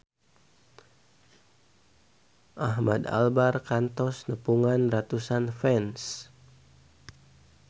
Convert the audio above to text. Ahmad Albar kantos nepungan ratusan fans